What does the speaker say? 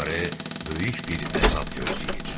Onları böyük bir əzab gözləyir.